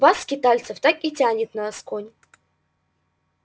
вас скитальцев так и тянет на асконь